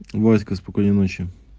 васька спокойной ночи